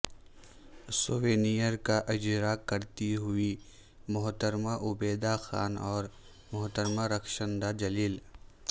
souvenir کا اجراء کرتی ہوئیں محترمہ عبیدہ خان اور محترمہ رخشندہ جلیل